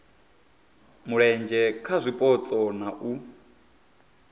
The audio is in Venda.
mulenzhe kha zwipotso na u